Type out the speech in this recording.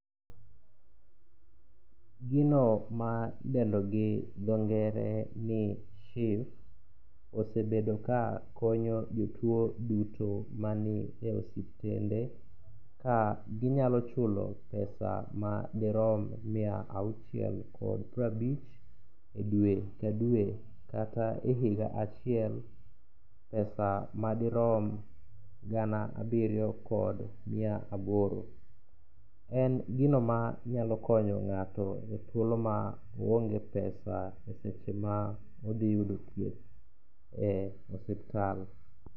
Gino ma idendo gi dhongere ni SHIF osebedo ka konyo jotuwo duto mani e osuptende ka ginyalo chulo pesa madirom miya auchiel kod prabich e dwe ka dwe kata e higa achiel pesa madirom gana abiriyo kod miya aboro. En gino manyalo konyo ng'ato e thuolo ma oonge pesa e seche ma odhi yudo thieth e osuptal.